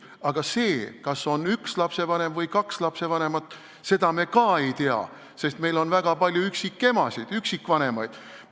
Aga kas on üks lapsevanem või kaks lapsevanemat, seda me ei tea, sest meil on väga palju üksikemasid, üksikvanemaid.